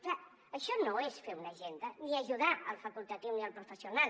clar això no és fer una agenda ni ajudar el facultatiu ni el professional